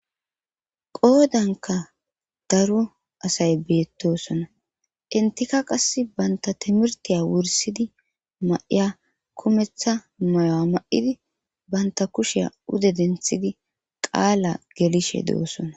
qoodanka daro asay beettosona entika qass banta timirtiya wursidi ma7iya kumetha moyo7a ma7idi banta kushiya ude denthidi qaala gelishe doosona